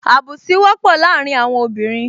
Àbùsí wọ́pọ̀ láàrin àwọn obìnrin